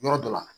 Yɔrɔ dɔ la